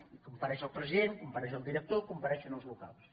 hi com·pareix el president hi compareix el director hi compa·reixen els vocals